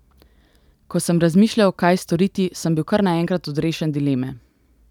Ko sem razmišljal, kaj storiti, sem bil kar naenkrat odrešen dileme.